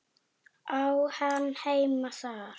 Á hann heima þar?